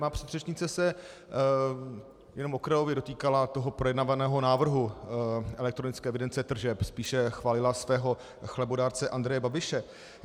Má předřečnice se jen okrajově dotýkala toho projednávaného návrhu elektronické evidence tržeb, spíše chválila svého chlebodárce Andreje Babiše.